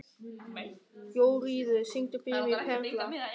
Jóríður, syngdu fyrir mig „Perla“.